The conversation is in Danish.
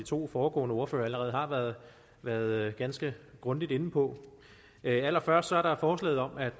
to foregående ordførere allerede har været været ganske grundigt inde på allerførst er der forslaget om at